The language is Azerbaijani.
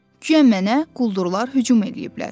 Güya mənə quldurlar hücum eləyiblər.